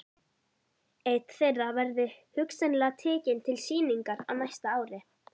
Einn þeirra verði hugsanlega tekinn til sýningar á næsta ári.